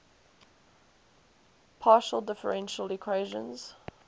partial differential equations